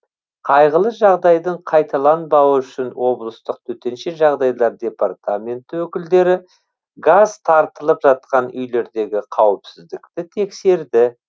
қайғылы жағдайдың қайталанбауы үшін облыстық төтенше жағдайлар департаменті өкілдері газ тартылып жатқан үйлердегі қауіпсіздікті тексерді